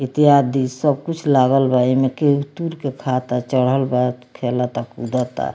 इत्यादि सब कुछ लागल बा एमें केहू तुर के खाता चढ़ल बा खेलता कूदता।